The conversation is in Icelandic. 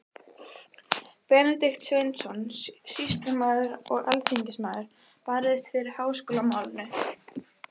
Benedikt Sveinsson, sýslumaður og alþingismaður, barðist fyrir háskólamálinu.